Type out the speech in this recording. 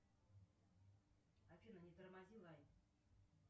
афина не тормози лайт